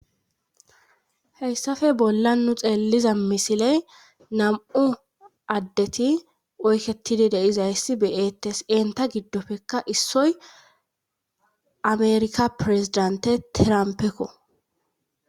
Heyssafe bolla nu xeelliza misiley nam'u addeti oyketidi de'izayssi be'ettes eenta giddofekka issoy ameerika pireziddante tiramppekko.